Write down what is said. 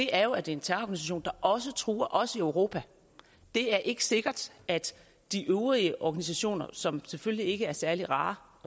er jo at det en terrororganisation der også truer os i europa det er ikke sikkert at de øvrige organisationer som selvfølgelig ikke er særlig rare